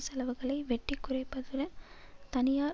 செலவுகளை வெட்டி குறைப்பதுடன் தனியார்